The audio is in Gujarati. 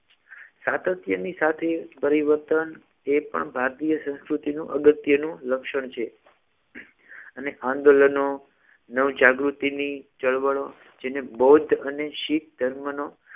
સાતત્યની સાથે પરિવર્તન એ પણ ભારતીય સંસ્કૃતિનું અગત્યનું લક્ષણ છે અને આંદોલનો નવ જાગૃતિની ચળવળો જેને બૌદ્ધ અને શીખ ધર્મનો